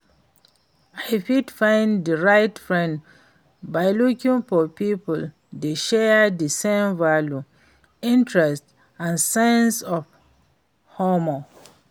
I fit find di right friends by looking for people wey share di same values, interests and sense of humor.